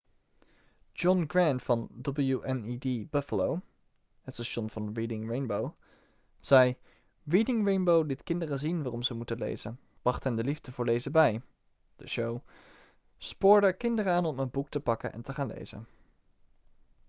john grant van wned buffalo het station van reading rainbow zei: 'reading rainbow liet kinderen zien waarom ze moeten lezen... bracht hen de liefde voor lezen bij - [de show] spoorde kinderen aan om een boek te pakken en te gaan lezen.'